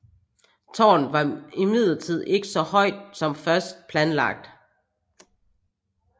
Tårnet var imidlertid ikke så højt som først planlagt